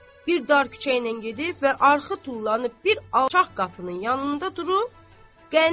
Bir dar küçə ilə gedib və arxı tullanıb bir alçaq qapının yanında durub.